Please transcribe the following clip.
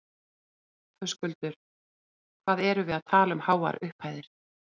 Höskuldur: Hvað erum við að tala um háar upphæðir?